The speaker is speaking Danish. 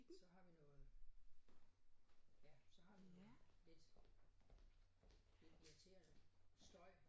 Så har vi noget ja så har vi noget lidt lidt irriterende støj